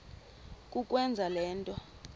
kukwenza le nto